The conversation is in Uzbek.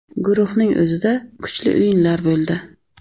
Guruhning o‘zida kuchli o‘yinlar bo‘ldi.